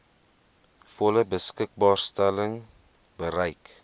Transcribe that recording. volle beskikbaarstelling bereik